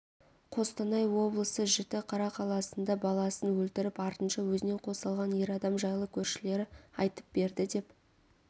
қостанай облысы жітіқара қаласында баласын өлтіріп артынша өзіне қол салған ер адам жайлы көршілері айтып берді деп